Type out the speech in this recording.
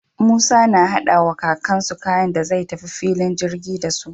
Musa na hada wa kakan su kaya da zai ta fillin girgi dasu